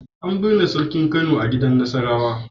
An binne Sarkin Kano a gidan Nasarawa.